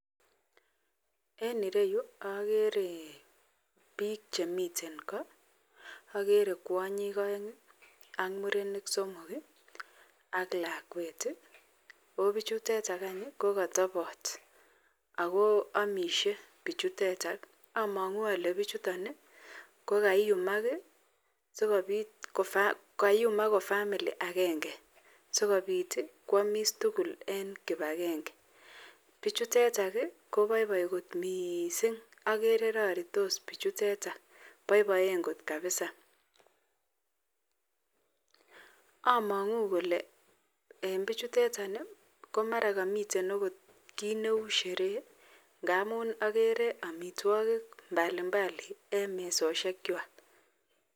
En ireyu agere bik Chemiten ko agere kwanyik aeng AK murenik somok AK lakwet ako bik tuchetoko katabat akoamishe bichuton amangu ale bichuton kokayumak sikobit ako famili agenge sikobit kwamis tugul en kibagenge agere bichutetan kobaibaiye kot mising agere raritos bichutetan baibaenbkot kabisa amangu Kole en bichutetan komara kamiten okot kit Neu sherehe ngamun agere amitwagik mbalimbali en yumesosgek chwak